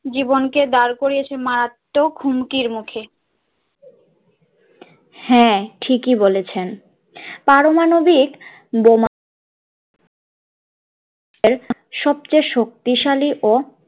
জীবনকে দাঁড় করিয়েছে মারাত্বক হুমকির মুখে, হাঁ ঠিক ই বলেছেন পারমাণবিক বোমা এর সবচেয়ে শক্তিশালী ও